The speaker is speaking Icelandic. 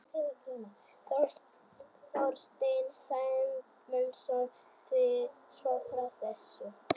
Þorsteinn Sæmundsson segir svo frá þessu: